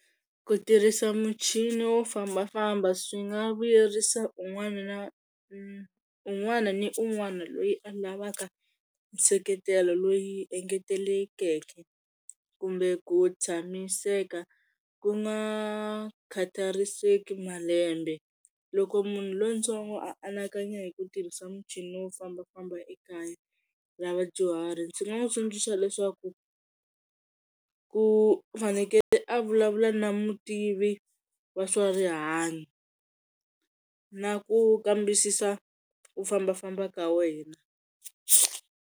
Ku tirhisa muchini wo fambafamba swi nga vuyerisa un'wana na un'wana ni un'wana loyi a lavaka nseketelo loyi engetelekeke, kumbe ku tshamiseka ku nga khatariseki malembe. Loko munhu lontsongo anakanya hi ku tirhisa muchini wo fambafamba ekaya ra vadyuhari ndzi nga n'wi tsundzuxa swa leswaku u fanekele a vulavula na mutivi wa swa rihanyo na ku kambisisa ku fambafamba ka wena.